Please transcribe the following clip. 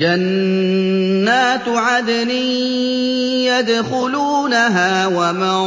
جَنَّاتُ عَدْنٍ يَدْخُلُونَهَا وَمَن